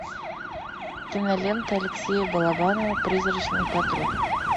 кинолента алексея балабанова призрачный патруль